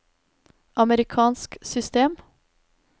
amerikansk system